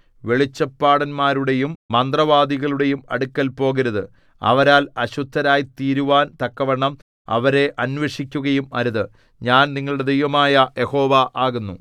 വെളിച്ചപ്പാടന്മാരുടെയും മന്ത്രവാദികളുടെയും അടുക്കൽ പോകരുത് അവരാൽ അശുദ്ധരായ്തീരുവാൻ തക്കവണ്ണം അവരെ അന്വേഷിക്കുകയും അരുത് ഞാൻ നിങ്ങളുടെ ദൈവമായ യഹോവ ആകുന്നു